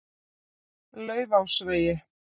Laufásvegi